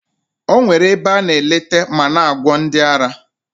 O nwekwara ebe a na eleta ma na-agwọ ndị ara.